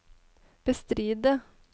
bestride